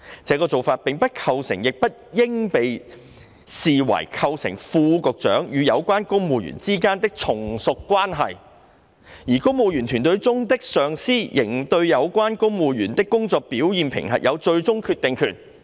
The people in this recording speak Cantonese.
這個做法，並不構成亦不應被視為構成副局長與有關公務員之間有從屬關係，而公務員隊伍中的上司仍對有關公務員的工作表現評核有最終決定權。